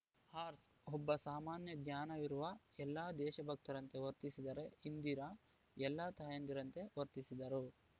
ಹರ್ ಸ್ಕ್ ಒಬ್ಬ ಸಾಮಾನ್ಯಜ್ಞಾನವಿರುವ ಎಲ್ಲ ದೇಶಭಕ್ತರಂತೆ ವರ್ತಿಸಿದರೆ ಇಂದಿರಾ ಎಲ್ಲ ತಾಯಂದಿರಂತೆ ವರ್ತಿಸಿದರು